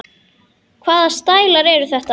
Hvaða stælar eru þetta?